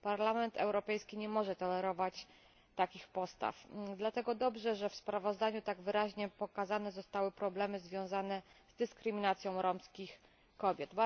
Parlament Europejski nie może tolerować takich postaw, dlatego dobrze, że w sprawozdaniu tak wyraźnie pokazane zostały problemy związane z dyskryminacją romskich kobiet.